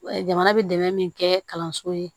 Jamana bɛ dɛmɛ min kɛ kalanso ye